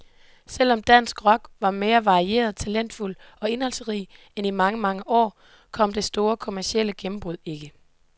Selv om dansk rock var mere varieret, talentfuld og indholdsrig end i mange, mange år, kom det store kommercielle gennembrud ikke.